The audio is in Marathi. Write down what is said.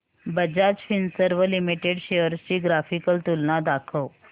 बजाज फिंसर्व लिमिटेड शेअर्स ची ग्राफिकल तुलना दाखव